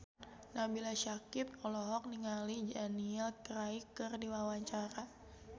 Nabila Syakieb olohok ningali Daniel Craig keur diwawancara